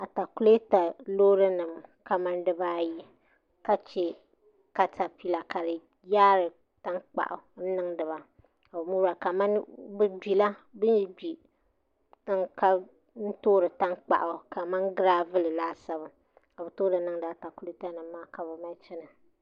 Atakulɛta loori nim kamani dibaayi ka chɛ katapila ka di yaari tankpaɣu n niŋdiba kamani bin yi gbi n toori tankpaɣu kamani giraavul laasabu ka bi toori niŋdi atakulɛta nim maa ni ka bi mali chɛna